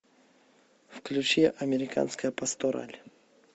включи американская пастораль